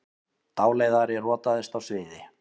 Dáleiðari rotaðist á sviði